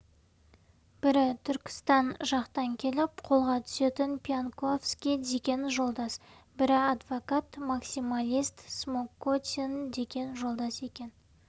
бірі түркістан жақтан келіп қолға түсетін пьянковский деген жолдас бірі адвокат максималист смокотин деген жолдас екен